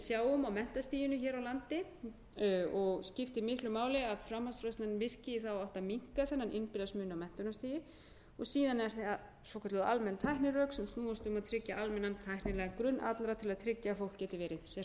sjáum á menntastiginu hér á landi og skiptir miklu máli að framhaldsmenntunin virki í þá átt að minnka þennan innbyrðis mun á menntunarstigi og síðan eru það svokölluð almenn tæknirök sem snúast um að tryggja almennan tæknilegan grunn allra til að tryggja að fólk geti verið sem hreyfanlegast á vinnumarkaði